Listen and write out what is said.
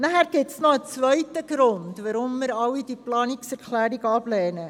Es gibt noch einen zweiten Grund, weshalb wir diese Planungserklärungen ablehnen.